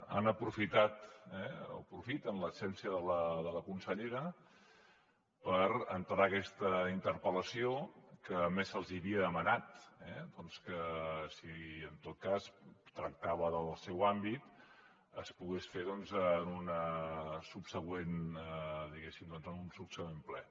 han aprofitat eh aprofiten l’absència de la consellera per entrar aquesta interpel·lació que a més se’ls havia demanat doncs que si en tot cas tractava del seu àmbit es pogués fer en un subsegüent diguéssim ple